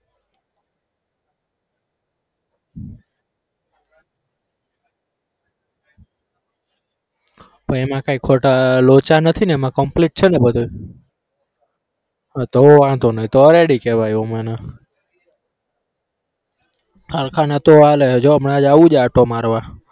એમાં કાઈ ખોટા લોચા નથી ને એમાં complete છે ને બધું તો તો વાંધો નઈ તો ready કેવાય એવું મને હરખા નતો આંટો મારવા